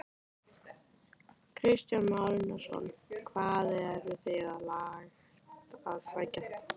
Kristján Már Unnarsson: Hvað eruð þið langt að sækja þetta?